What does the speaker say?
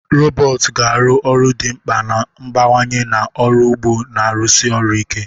Robotu ga-arụ ọrụ dị mkpa na-abawanye na ọrụ ugbo na-arụsi ọrụ ike.